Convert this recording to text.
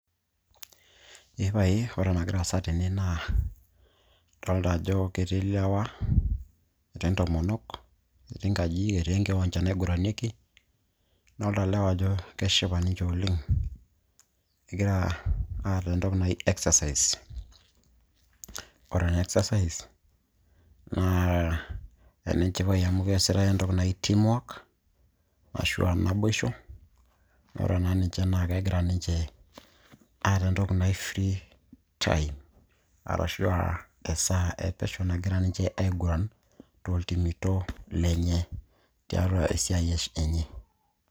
Ee pae ore enagira aasa tene naa odolita ajo ketii ilewa netii intomonok netii inkajijik ,etii enkiwanja naigiranieki adolita ilewa ajo keshipa ninche oleng egira aata entoki naji exercise ore ena exercise naa enenchipai amu keesitai enaa entoki naji team work ashuua naboisho ore naa ninche naa kegira ninche aata entoki naji free time arashua esaa epesho nagira ninche aiguran tooltimito lenye tiatua esiai enye .